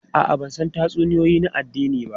A'a, ban san tatsuniyoyi na addini ba.